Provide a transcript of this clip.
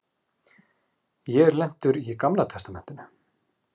Ég er lentur í Gamla testamentinu.